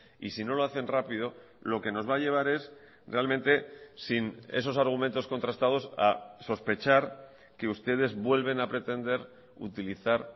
y si no lo hacen rápido lo que nos va a llevar es realmente sin esos argumentos contrastados a sospechar que ustedes vuelven a pretender utilizar